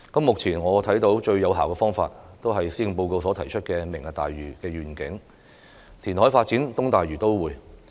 目前我看到最有效的方法，就是施政報告所提出的"明日大嶼願景"，填海發展東大嶼都會。